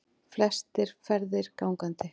Flestir ferðist gangandi